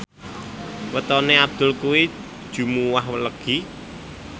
wetone Abdul kuwi Jumuwah Legi